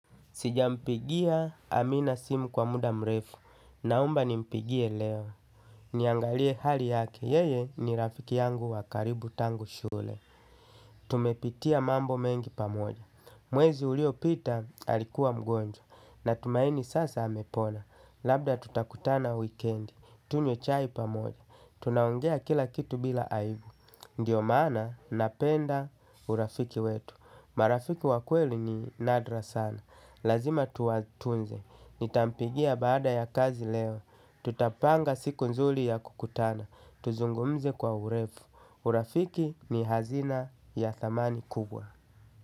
Sijampigia amina simu kwa muda mrefu naomba nimpigie leo. Niangalie hali yake, yeye ni rafiki yangu wa karibu tangu shule. Tumepitia mambo mengi pamoja. Mwezi uliopita alikuwa mgonjwa na tumaini sasa amepona labda tutakutana wikendi tunywe chai pamoja. Tunaongea kila kitu bila aibu. Ndiyo maana napenda urafiki wetu. Marafiki wa kweli ni nadra sana, lazima tuwatunze. Nitampigia baada ya kazi leo. Tutapanga siku nzuli ya kukutana. Tuzungumze kwa urefu. Urafiki ni hazina ya dhamani kubwa.